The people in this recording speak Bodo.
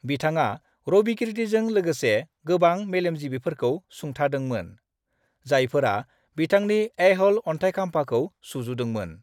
बिथाङा रविकीर्तिजों लोगोसे गोबां मेलेमजिबिफोरखौ सुंथादोंमोन, जायफोरा बिथांनि ऐहोल अन्थायखाम्फाखौ सुजुदोंमोन।